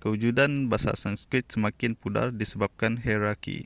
kewujudan bahasa sanskrit semakin pudar disebabkan hierarki